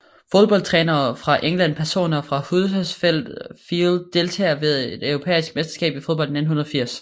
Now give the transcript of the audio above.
Fodboldtrænere fra England Personer fra Huddersfield Deltagere ved det europæiske mesterskab i fodbold 1980